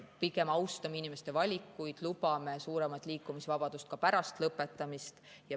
Pigem austame inimeste valikuid ja lubame suuremat liikumisvabadust ka pärast lõpetamist.